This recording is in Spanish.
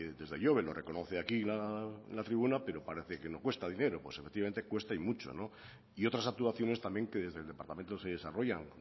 desde ihobe lo reconoce aquí en la tribuna pero parece que no cuesta dinero efectivamente cuesta y mucho y otras actuaciones también que desde el departamento se desarrollan